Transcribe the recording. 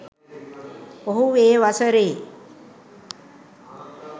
ඔහු ඒ වසරේ